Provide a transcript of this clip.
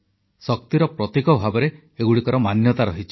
ଶକ୍ତିର ପ୍ରତୀକ ଭାବରେ ଏଗୁଡ଼ିକର ମାନ୍ୟତା ରହିଛି